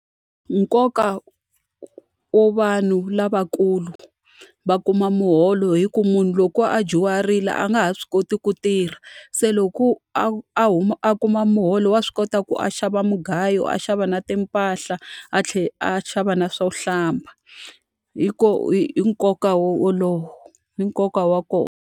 Nkoka wo vanhu lavakulu va kuma muholo i ku munhu loko a dyuharile a nga ha swi koti ku tirha, se loko a a a kuma muholo wa swi kota ku a xava mugayo, a xava na timpahla, a tlhela a xava na swo hlamba. I nkoka wolowo, i nkoka wa kona.